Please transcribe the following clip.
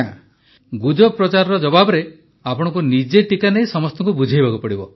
ପ୍ରଧାନମନ୍ତ୍ରୀ ଗୁଜବ ପ୍ରଚାରର ଜବାବରେ ଆପଣଙ୍କୁ ନିଜେ ଟିକା ନେଇ ସମସ୍ତଙ୍କୁ ବୁଝାଇବାକୁ ପଡ଼ିବ